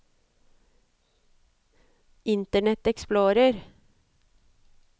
internet explorer